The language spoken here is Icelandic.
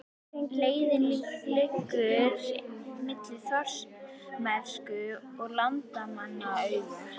Leiðin liggur milli Þórsmerkur og Landmannalauga.